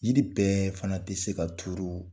Jiri bɛɛ fana tɛ se ka turu